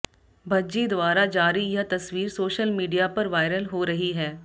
भज्जी द्वारा जारी यह तस्वीर सोशल मीडिया पर वायरल हो रही है